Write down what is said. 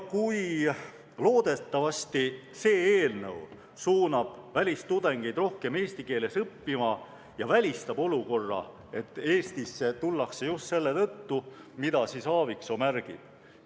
Loodetavasti suunab see eelnõu välistudengeid rohkem eesti keeles õppima ja välistab olukorra, et Eestisse tullakse just selle tõttu, mida Aaviksoo märgib.